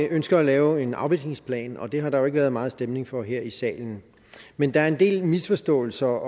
ønsker at lave en afvisningsplan og det har der jo ikke været meget stemning for her i salen men der er en del misforståelser